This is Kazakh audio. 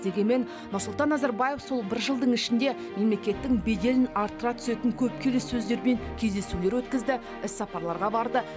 дегенмен нұрсұлтан назарбаев сол бір жылдың ішінде мемлекеттің беделін арттыра түсетін көп келіссөздер мен кездесулер өткізді іссапарларға барды